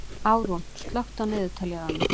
Árún, slökktu á niðurteljaranum.